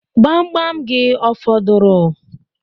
Gbamgbam gị ọ fọdụrụ?